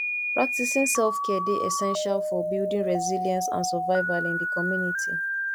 practicing selfcare dey essential for building resilience and survival in di community